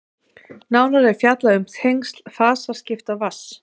nánar er fjallað um tengsl fasaskipta vatns